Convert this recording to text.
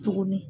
Tuguni